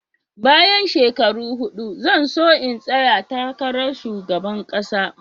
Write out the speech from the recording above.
Bayan shekaru huɗu zan so in tsaya takarar Shugaban kasa.